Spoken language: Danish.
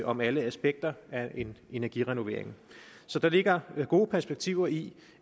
om alle aspekter af en energirenovering så der ligger gode perspektiver i